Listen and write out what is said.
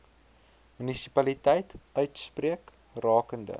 munisipaliteit uitspreek rakende